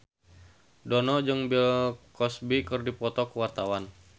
Dono jeung Bill Cosby keur dipoto ku wartawan